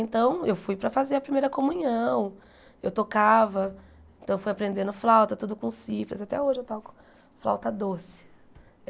Então eu fui para fazer a primeira comunhão, eu tocava, então fui aprendendo flauta, tudo com cifras, até hoje eu toco flauta doce.